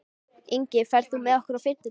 Ingi, ferð þú með okkur á fimmtudaginn?